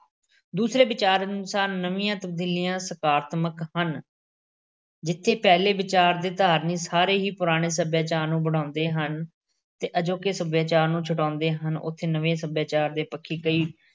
ਦੂਸਰੇ ਵਿਚਾਰ ਅਨੁਸਾਰ ਨਵੀਂਆਂ ਤਬਦੀਲੀਆਂ ਸਕਾਰਾਤਮਿਕ ਹਨ ਜਿੱਥੇ ਪਹਿਲੇ ਵਿਚਾਰ ਦੇ ਧਾਰਨੀ ਸਾਰੇ ਹੀ ਪੁਰਾਣੇ ਸੱਭਿਆਚਾਰ ਨੂੰ ਵਡਿਆਉਂਦੇ ਹਨ ਤੇ ਅਜੋਕੇ ਸੱਭਿਆਚਾਰ ਨੂੰ ਛੁਟਿਆਉਂਦੇ ਹਨ, ਉੱਥੇ ਨਵੇਂ ਸੱਭਿਆਚਾਰ ਦੇ ਪੱਖੀ ਕਈ